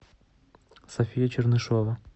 софия чернышева